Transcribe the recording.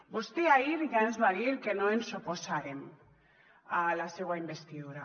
vostè ahir ja ens va dir que no ens oposàrem a la seua investidura